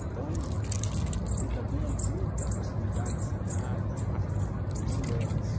Então, e também ajuda para cuidar da cidade na parte mulheres.